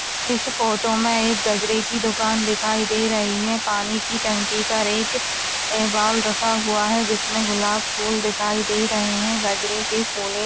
इस फोटो में एक गजरे की दुकान दिखाई दे रही है पानी की टंकी पर एक बाउल रखा हुआ है जिसमें गुलाब फूल दिखाई दे रहे है गजरे के फूले--